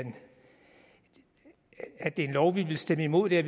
en lov vi vil stemme imod det